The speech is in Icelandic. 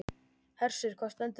Hersir, hvað stendur til?